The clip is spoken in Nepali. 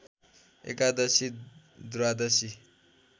एकादशी द्वादशी